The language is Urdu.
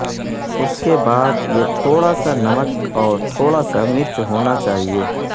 اس کے بعد یہ تھوڑا سا نمک اور تھوڑا سا مرچ ہونا چاہئے